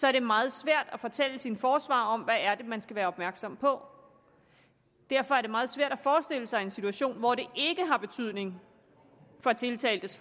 er det meget svært at fortælle sin forsvarer om hvad det er man skal være opmærksom på derfor er det meget svært at forestille sig en situation hvor det ikke har betydning for tiltaltes